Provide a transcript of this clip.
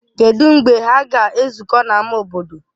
Kedụ mgbe ha ga-ezukọ n'ámá obodo?